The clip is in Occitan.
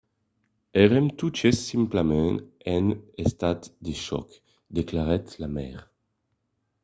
"èrem totes simpletament en estat de chòc, declarèt la maire